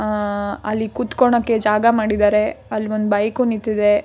ಆಹ್ಹ್ ಅಲ್ಲಿ ಕುತ್ಕೊಳ್ಳೋಕೆ ಜಾಗ ಮಾಡಿದ್ದಾರೆ ಅಲ್ಲಿ ಒಂದ್ ಬೈಕ್ ನಿಂತಿದೆ.